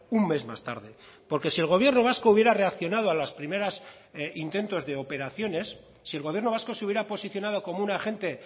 un mes más tarde porque si el gobierno vasco hubiera reaccionado a las primeras intentos de operaciones si el gobierno vasco se hubiera posicionado como un agente